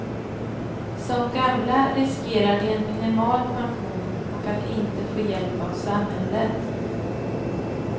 Som gamla riskerar de en minimal pension och att inte få hjälp av samhället.